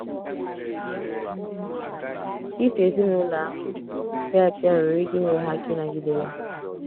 I so ezinụlọ ahụ kpee ekpere nwere ike inyere ha aka ịnagide ya.